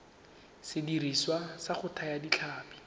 sediriswa sa go thaya ditlhapi